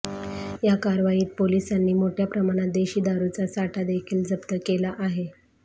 या कारवाईत पोलिसांनी मोठय़ा प्रमाणात देशी दारुचा साठा देखील जप्त केला आहे